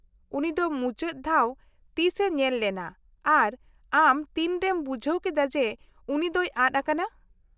-ᱩᱱᱤ ᱫᱚ ᱢᱩᱪᱟᱹᱫ ᱫᱷᱟᱣ ᱛᱤᱥᱼᱮ ᱧᱮᱞ ᱞᱮᱱᱟ ᱟᱨ ᱟᱢ ᱛᱤᱱᱨᱮᱢ ᱵᱩᱡᱷᱟᱹᱣ ᱠᱮᱫᱟ ᱡᱮ ᱩᱱᱤ ᱫᱚᱭ ᱟᱫ ᱟᱠᱟᱱᱟ ?